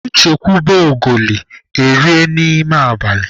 E chekwube ogoli, erie n'ime abalị